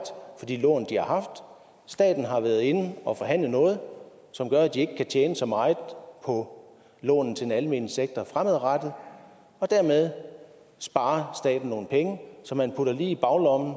for de lån de har haft staten har været inde at forhandle noget som gør at de ikke kan tjene så meget på lån til den almene sektor fremadrettet og dermed sparer staten nogle penge som man putter lige i baglommen